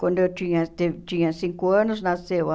Quando eu tinha te tinha cinco anos, nasceu a...